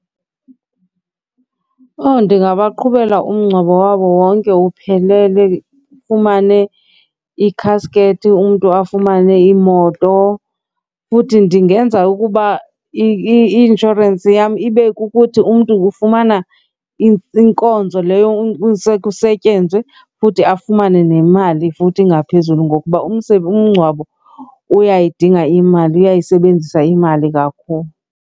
Owu, ndingabaqhubeka umngcwabo wabo wonke uphelele, ufumane ikhaskethi umntu afumane imoto. Futhi ndingenza ukuba i-inshorensi yam ibe kukuthi umntu ufumana inkonzo leyo kusetyenzwe futhi afumane nemali futhi ngaphezulu ngokuba umngcwabo uyayidinga imali, uyayisebenzisa imali kakhulu.